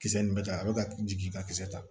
Kisɛ nin bɛ ta a bɛ ka jigin ka kisɛ ta